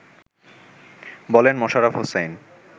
বলেন মোশাররাফ হোসাইন